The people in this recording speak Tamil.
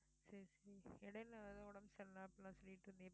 சரி சரி இடையில ஏதோ உடம்பு சரியில்லை அப்படி எல்லாம் சொல்லிட்டு இருந்தியே